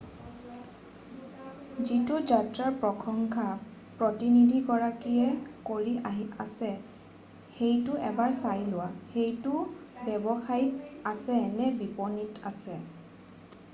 যিটো যাত্ৰাৰ প্ৰসংশা প্ৰতিনিধিগৰাকীয়ে কৰি আছে সেইটো এবাৰ চাই লোৱা সেইটো ৱেবছাইটত আছে নে বিপণীত আছে